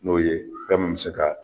N'o ye fɛn mun be se ka